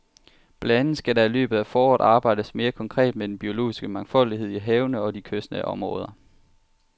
Blandt andet skal der i løbet af foråret arbejdes mere konkret med den biologiske mangfoldighed i havene og i de kystnære områder.